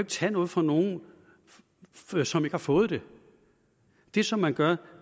tage noget fra nogen som ikke har fået det det som man gør